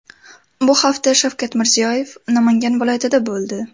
Bu hafta Shavkat Mirziyoyev Namangan viloyatida bo‘ldi.